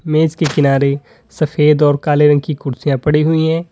मेज के किनारे सफेद और काले रंग की कुर्सियां पड़ी हुई है।